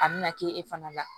A bɛna kɛ e fana la